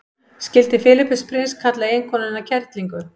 skildi filippus prins kalla eiginkonuna kerlingu